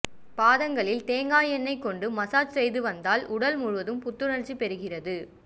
பாதங்களில் தேங்காய் எண்ணெய் கொண்டு மசாஜ் செய்வதால் உடல் முழுவதும் புத்துணர்ச்சி பெறுகிறது